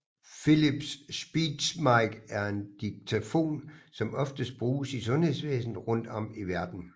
Philips SpeechMike er en diktafon som oftest bruges i sundhedsvæsnet rundt om i verden